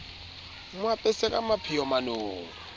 mo apese ka mapheo manong